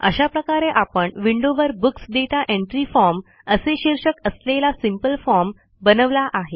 अशा प्रकारे आपण विंडोवर बुक्स दाता एंट्री फॉर्म असे शीर्षक असलेला सिंपल फॉर्म बनवला आहे